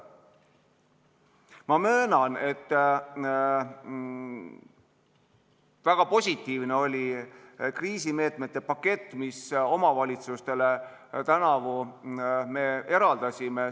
Ma möönan, et väga positiivne oli kriisimeetmete pakett, mille me omavalitsustele tänavu eraldasime.